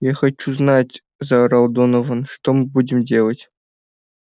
я хочу знать заорал донован что мы будем делать